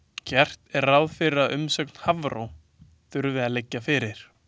Gert er ráð fyrir að umsögn Hafró þurfi að liggja fyrir.